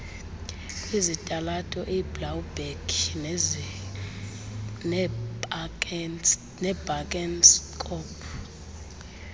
kwizitalato iblaauberg nebakenskop